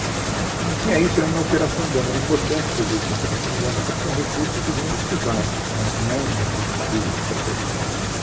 Né então tinha isso na operação urbana, era importante fazer isso na operação urbana, até porque é um recurso que vem do privado né, não é um recurso público que está posto lá.